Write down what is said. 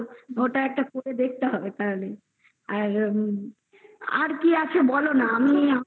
ওটা একটা করে দেখতে হবে তারমানে আর কি আছে বলোনা আমি বেশ